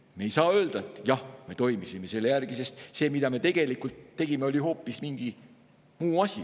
Ei saa öelda, et jah, me toimisime selle järgi, sest see, mida me tegelikult tegime, oli hoopis mingi muu asi.